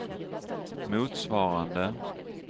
motsvarande